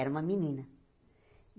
Era uma menina.